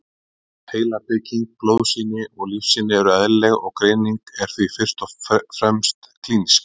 Heilabygging, blóðsýni og lífsýni eru eðlileg og greining er því fyrst og fremst klínísk.